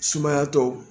Sumaya tɔ